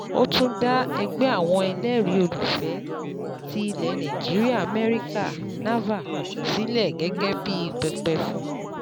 Ó tún dá Ẹgbẹ́ Àwọn Ẹlẹ́rìí Olùfẹ̀ẹ́ ti Ilẹ̀ Nàìjíríà-Amẹ́ríkà (NAVA) sílẹ̀ gẹ́gẹ́ bí pẹpẹ fún